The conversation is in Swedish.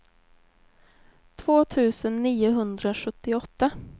två tusen niohundrasjuttioåtta